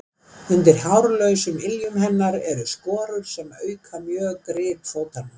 Undir hárlausum iljum hennar eru skorur sem auka mjög grip fótanna.